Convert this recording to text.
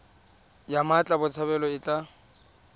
ya mmatla botshabelo e tla